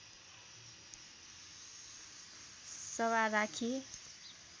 सभा राखी